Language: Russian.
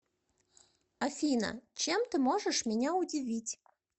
афина чем ты можешь меня удивить